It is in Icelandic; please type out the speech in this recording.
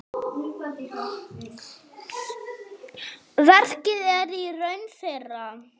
Verkið er í raun þeirra.